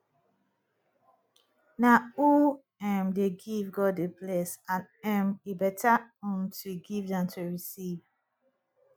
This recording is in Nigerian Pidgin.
na who um dey give god dey bless and um e beta um to give dan to receive